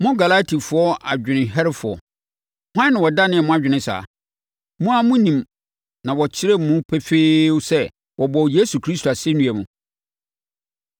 Mo Galatifoɔ adwenemherɛfoɔ! Hwan na ɔdanee mo adwene saa? Mo ara mo anim na wɔkyerɛɛ mu pefee sɛ wɔbɔɔ Yesu Kristo asɛnnua mu.